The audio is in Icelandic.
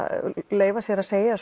leyfi sér að segja